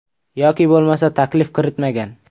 Yoki bo‘lmasa taklif kiritmagan?